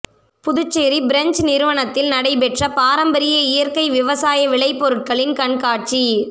Puducherry French நிறுவனத்தில் நடைபெற்ற பாரம்பரிய இயற்கை விவசாய விளைபொருட்களின் கண்காட்சி